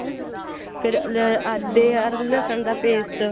ਫੇਰ ਅੱਧਰਕ ਅਰ ਲਹਸਨ ਦਾ paste